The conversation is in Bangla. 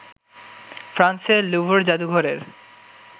ফ্রান্সের ল্যুভর জাদুঘরের